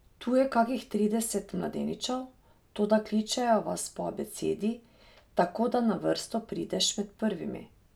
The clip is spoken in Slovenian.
Tu je kakih trideset mladeničev, toda kličejo vas po abecedi, tako da na vrsto prideš med prvimi.